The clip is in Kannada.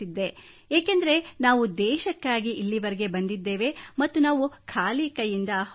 ಏಕೆಂದರೆ ನಾವು ದೇಶಕ್ಕಾಗಿ ಇಲ್ಲಿವರೆಗೆ ಬಂದಿದ್ದೇವೆ ಮತ್ತು ನಾವು ಖಾಲಿ ಕೈಯಿಂದ ಹೋಗಬಾರದು